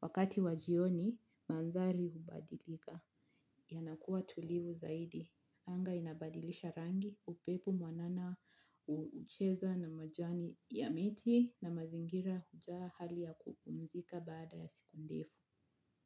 Wakati wa jioni, mandhari hubadilika. Yanakua tulivu zaidi. Anga inabadilisha rangi, upepo mwanana hucheza na majani ya miti na mazingira hujaa hali ya kupumzika baada ya siku ndefu.